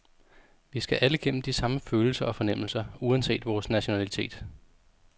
Vi skal alle gennem de samme følelser og fornemmelser, uanset vores nationalitet.